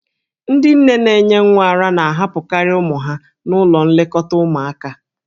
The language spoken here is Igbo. Ndị nne na-enye nwa ara na-ahapụkarị ụmụ ha n'ụlọ nlekọta ụmụaka.